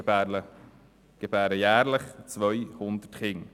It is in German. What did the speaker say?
Sie gebären jährlich 200 Kinder.